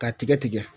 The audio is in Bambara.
K'a tigɛ tigɛ